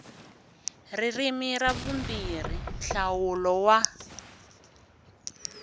ririmi ra vumbirhi nhlawulo wa